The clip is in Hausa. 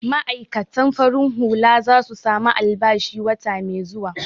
Ma'aikatan farin hula za su samu albashi wata mai zuwa.